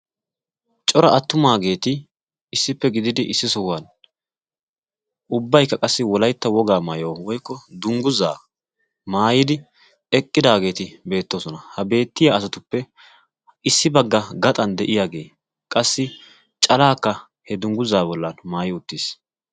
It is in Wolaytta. cora attumaageeti issippe gididi issi sohuwan ubbaykka qassi wolaytta wogaa maayuwa woykko dungguzaa maayidi eqqidaageeti beettoosona ha beettiya asatuppe issi bagga gaxan de'iyaagee qassi calaakka he dungguzaa bollan maayi uttiis